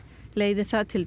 leiði það til